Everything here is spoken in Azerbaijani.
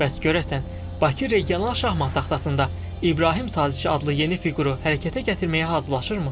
Bəs görəsən, Bakı regional şahmat taxtasında İbrahim sazişi adlı yeni fiquru hərəkətə gətirməyə hazırlaşırmı?